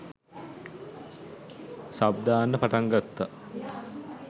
Sub දාන්න පටන් ගත්තා.